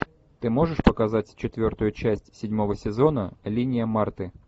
ты можешь показать четвертую часть седьмого сезона линия марты